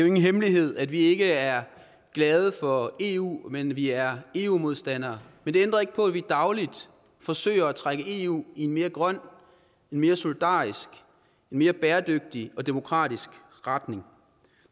ingen hemmelighed at vi ikke er glade for eu men at vi er eu modstandere men det ændrer ikke på at vi dagligt forsøger at trække eu i en mere grøn en mere solidarisk en mere bæredygtig og demokratisk retning